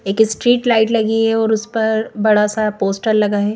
एक street light लगी है और उस पर बड़ा सा पोस्टर लगा है।